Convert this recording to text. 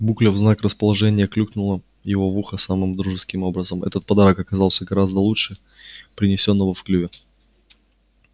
букля в знак расположения клюкнула его в ухо самым дружеским образом этот подарок оказался гораздо лучше принесённого в клюве